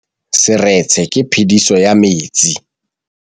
Fa pula e nelê serêtsê ke phêdisô ya metsi.